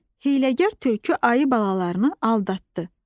Hiyləgər tülkü ayı balalarını aldatdı.